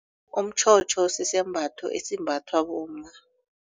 Umtjhotjho sisembatho esimbathwa bomma.